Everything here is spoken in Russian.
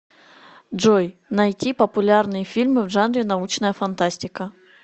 джой найти популярные фильмы в жанре научная фантастика